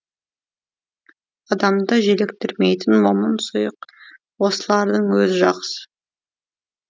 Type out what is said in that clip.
адамды желіктірмейтін момын сұйық осылардың өзі жақсы